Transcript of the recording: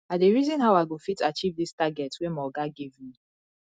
i dey reason how i go fit achieve dis target wey my oga give me